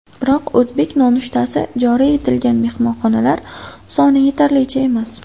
Biroq o‘zbek nonushtasi joriy etilgan mehmonxonalar soni yetarlicha emas.